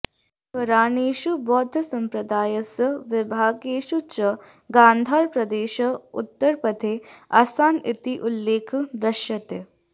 पुराणेषु बौद्धसम्प्रदायस्य विभागेषु च गान्धारप्रदेशाः उत्तरपथे आसन् इति उल्लेखः दृश्यते